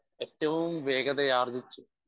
speaker 1 ഏറ്റവും വേഗതയാർജിച്ച്